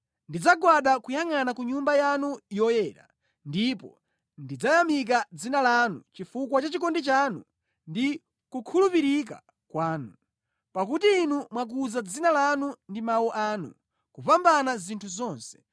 Ndidzagwada kuyangʼana ku Nyumba yanu yoyera ndipo ndidzayamika dzina lanu chifukwa cha chikondi chanu ndi kukhulupirika kwanu, pakuti Inu mwakuza dzina lanu ndi mawu anu kupambana zinthu zonse.